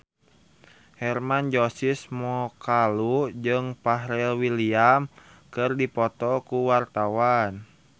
Hermann Josis Mokalu jeung Pharrell Williams keur dipoto ku wartawan